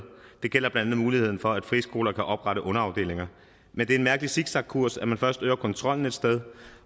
det gælder blandt andet muligheden for at friskoler kan oprette underafdelinger men det er en mærkelig zigzagkurs at man først øger kontrollen et sted